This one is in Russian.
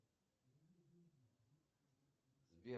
джой что такое литография